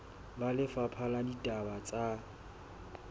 ba lefapha la ditaba tsa